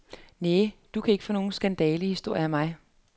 Næ, du kan ikke få nogle skandalehistorier af mig.